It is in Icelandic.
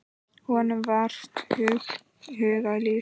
Honum var vart hugað líf.